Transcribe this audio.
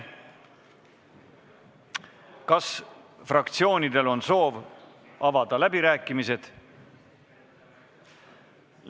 Kas fraktsioonidel on soovi avada läbirääkimisi?